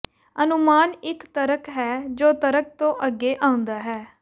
ਅਨੁਮਾਨ ਇੱਕ ਤਰਕ ਹੈ ਜੋ ਤਰਕ ਤੋਂ ਅੱਗੇ ਆਉਂਦਾ ਹੈ